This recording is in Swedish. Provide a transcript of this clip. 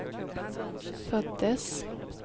föddes